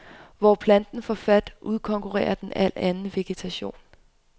Hvor planten får fat, udkonkurrerer den al anden vegetation.